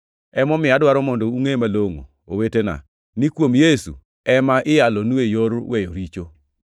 “Emomiyo, adwaro mondo ungʼe malongʼo, owetena, ni kuom Yesu ema iyalonue yor weyo richo.